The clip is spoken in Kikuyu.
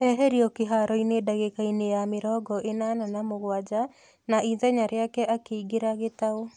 Eheririo kĩharoinĩ ndagĩkainĩ ya mĩrongo ĩnana na mũgwanja na ithenya rĩake akĩingĩra Gitau.